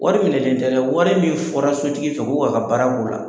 Wari minɛlen tɛ dɛ, wari min fɔra sotigi fɛ ko k'a ka baara k'o la